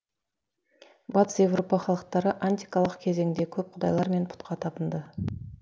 батыс еуропа халықтары антикалық кезеңде көп құдайлар мен пұтқа табынды